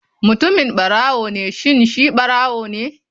Mutumin barawo ne shin shi ɓarawone??